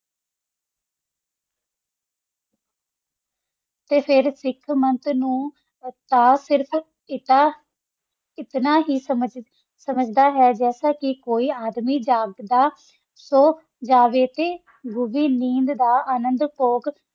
ਤਾ ਫਿਰ ਸਾਖ ਮਤ ਨੂ ਇਤਨਾ ਹੀ ਸਮਜ ਜੈਸਾ ਕਾ ਕੋਈ ਆਦਮੀ ਗਾਘਾਦਾ ਆ ਸੋ ਜਾਵਾ ਤਾ ਗੋਰੀ ਨੰਦ ਦਾ ਅਨੰਦੁ ਜੋਗ ਹੋ ਵ